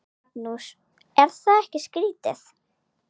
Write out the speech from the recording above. Magnús: Er það ekki skrítið?